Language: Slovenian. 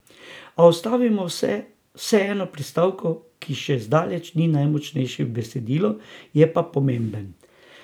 A ustavimo se vseeno pri stavku, ki še zdaleč ni najmočnejši v besedilu, je pa pomemben.